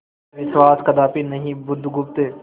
विश्वास कदापि नहीं बुधगुप्त